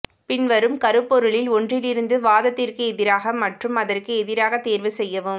பின்வரும் கருப்பொருளில் ஒன்றிலிருந்து வாதத்திற்கு எதிராக மற்றும் அதற்கு எதிராக தேர்வு செய்யவும்